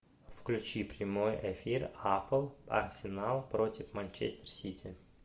включи прямой эфир апл арсенал против манчестер сити